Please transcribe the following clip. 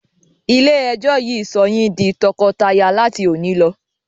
Ilé ẹjọ́ yìí sọ yín di tọkọtaya láti òní lọ!